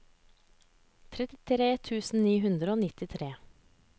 trettitre tusen ni hundre og nittitre